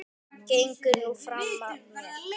Gengur nú fram af mér!